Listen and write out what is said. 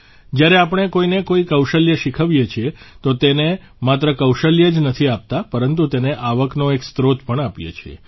જ્યારે આપણે કોઇને કોઇ કૌશલ્ય શીખવીએ છીએ તો તેને માત્ર કૌશલ્ય જ નથી આપતા પરંતુ તેને આવકનો એક સ્ત્રોત પણ આપીએ છીએ